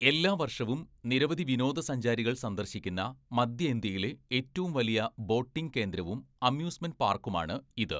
എല്ലാ വർഷവും നിരവധി വിനോദസഞ്ചാരികൾ സന്ദർശിക്കുന്ന മധ്യ ഇന്ത്യയിലെ ഏറ്റവും വലിയ ബോട്ടിംഗ് കേന്ദ്രവും അമ്യൂസ്മെൻ്റ് പാർക്കുമാണ് ഇത്.